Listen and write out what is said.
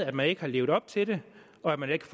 at man ikke har levet op til det og at man ikke